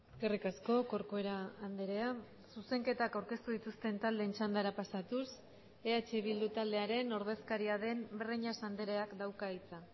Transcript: eskerrik asko corcuera andrea zuzenketak aurkeztu dituzten taldeen txandara pasatuz eh bildu taldearen ordezkaria den breñas andreak dauka hitza